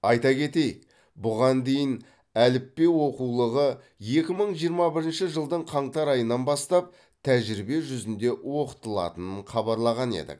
айта кетейік бұған дейін әліппе оқулығы екі мың жиырма бірінші жылдың қаңтар айынан бастап тәжірибе жүзінде оқытылатынын хабарлаған едік